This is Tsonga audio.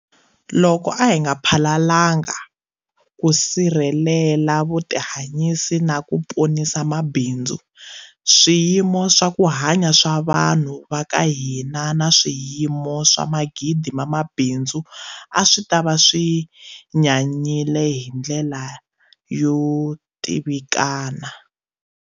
Loko a hi nga phalalangi ku sirhelela vutihanyisi na ku ponisa mabindzu, swiyimo swa ku hanya swa vanhu va ka hina na swiyimo swa magidi ma mabindzu a swi ta va swi nyanyile hi ndlela yo tivikana.